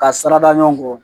Ka sarada ɲɔgɔn kɔ